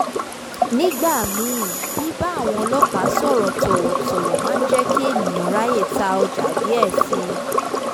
nígbà míì bíbá àwọn ọlọ́pàá sọ̀rọ̀ tọ̀wọ̀tọ̀wọ̀ máa ń jẹ́ kí ènìyàn ráyè ta ọjà díẹ̀ si